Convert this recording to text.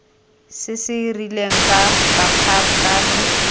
se se rileng ka bokgabane